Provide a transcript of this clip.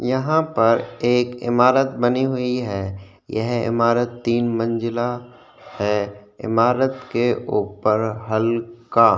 यहाँ पर एक इमारत बनी हुई है यह इमारत तीन मंज़िला है इमारत के ऊपर हल्का --